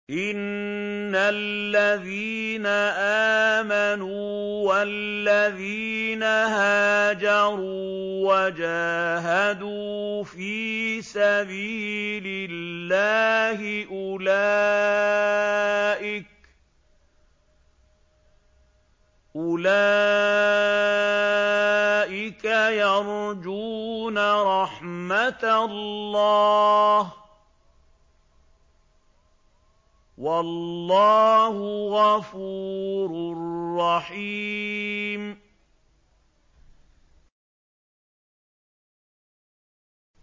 إِنَّ الَّذِينَ آمَنُوا وَالَّذِينَ هَاجَرُوا وَجَاهَدُوا فِي سَبِيلِ اللَّهِ أُولَٰئِكَ يَرْجُونَ رَحْمَتَ اللَّهِ ۚ وَاللَّهُ غَفُورٌ رَّحِيمٌ